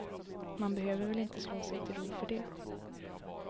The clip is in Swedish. Man behöver väl inte slå sig till ro för det.